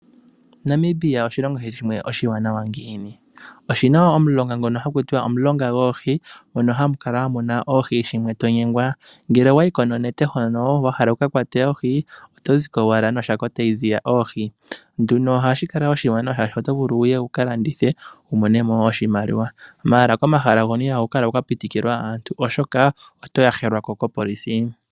Namibia oshilongo shimwe oshiwanawa ngiini? Oshi na omulonga ngono ha ku tiwa, omulonga goohi mono hamu kala mu na oohi shimwe to nyengwa. Ngele owa yi ko nonete hono, wa hala wu ka kwate oohi, oto zi ko owala noshako tayi ziya oohi. Ohashi kala oshiwanawa, oshoka oto vulu wu ka landithe, wu mone mo oshimaliwa, ashike komahala hoka ihaku pikwa aantu, oshoka oto yahelwa ko kaapolisi.